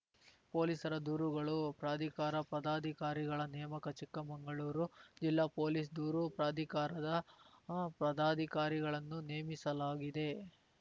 ಪೊಲೀಸರ ದೂರುಗಳು ಪ್ರಾಧಿಕಾರ ಪದಾಧಿಕಾರಿಗಳ ನೇಮಕ ಚಿಕ್ಕಮಂಗಳೂರು ಜಿಲ್ಲಾ ಪೊಲೀಸ್‌ ದೂರು ಪ್ರಾಧಿಕಾರದ ಪದಾಧಿಕಾರಿಗಳನ್ನು ನೇಮಿಸಲಾಗಿದೆ